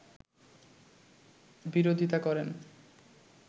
বিরোধিতা করেন